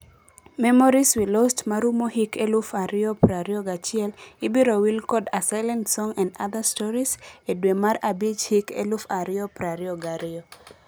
Memories we Lost' marumo hik eluf ario prario gachiel ibiro wil kod 'A silent Song and other stories' e dwe mar abich hik eluf ario prario gario.